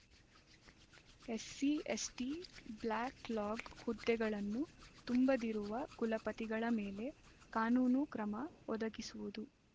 SC ST backlog ಹುದ್ದೆಗಳನ್ನು ತುಂಬದಿರುವ ಕುಲಪತಿಗಳ ಮೇಲೆ ಕಾನೂನು ಕ್ರಮ ಒದಗಿಸುವುದು